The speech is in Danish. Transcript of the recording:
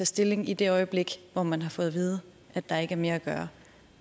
stilling i det øjeblik hvor man har fået at vide at der ikke er mere at gøre